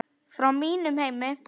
Frá mínum heimi.